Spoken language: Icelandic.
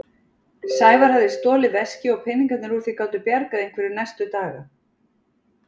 Sævar hafði stolið veski og peningarnir úr því gátu bjargað einhverju næstu daga.